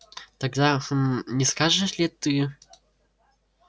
тогда гм не скажешь ли ты